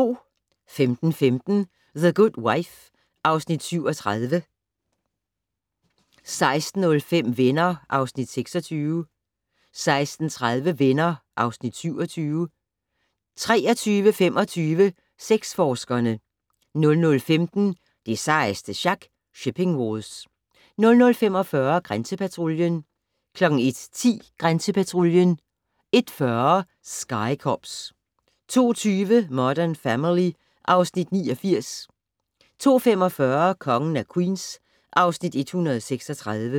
15:15: The Good Wife (Afs. 37) 16:05: Venner (Afs. 26) 16:30: Venner (Afs. 27) 23:25: Sexforskerne 00:15: Det sejeste sjak - Shipping Wars 00:45: Grænsepatruljen 01:10: Grænsepatruljen 01:40: Sky Cops 02:20: Modern Family (Afs. 89) 02:45: Kongen af Queens (Afs. 136)